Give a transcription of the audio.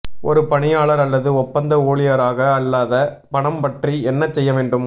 ஒரு பணியாளர் அல்லது ஒப்பந்த ஊழியராக அல்லாத பணம் பற்றி என்ன செய்ய வேண்டும்